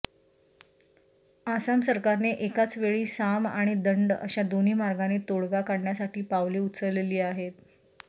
आसाम सरकारने एकाचवेळी साम आणि दंड अशा दोन्ही मार्गांनी तोडगा काढण्यासाठी पावले उचलली आहेत